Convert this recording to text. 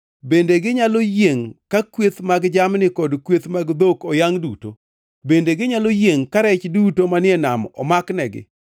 Bende ginyalo yiengʼ ka kweth mag jamni kod kweth mag dhok oyangʼ duto? Bende ginyalo yiengʼ ka rech duto manie nam omaknegi?”